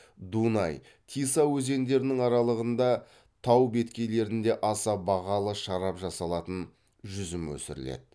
дунай тиса өзендерінің аралығында тау беткейлерінде аса бағалы шарап жасалатын жүзім өсіріледі